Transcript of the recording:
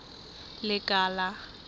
lekala